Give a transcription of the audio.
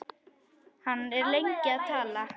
Hann er lengi að tala.